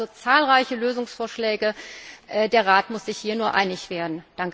Es gibt also zahlreiche Lösungsvorschläge, der Rat muss sich hier nur einig werden.